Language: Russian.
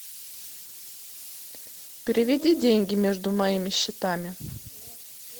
переведи деньги между моими счетами